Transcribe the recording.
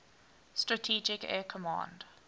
strategic air command